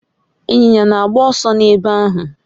Inyinya na agba oso n'ebe ahu